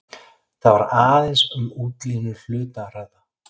Þar var aðeins um útlínur hluta að ræða.